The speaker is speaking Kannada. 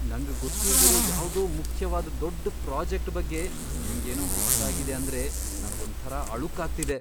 ನಂಗ್ ಗೊತ್ತಿಲ್ದಿರೋ ಯಾವ್ದೋ ಮುಖ್ಯವಾದ್ ದೊಡ್ಡ್ ಪ್ರಾಜೆಕ್ಟ್ ಬಗ್ಗೆ ನಿಮ್ಗೇನೋ ಗೊತ್ತಾಗಿದೆ ಅಂದ್ರೆ ನಂಗೊಂಥರ ಅಳುಕಾಗ್ತಿದೆ.